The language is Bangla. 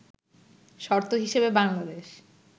শর্ত হিসেবে বাংলাদেশ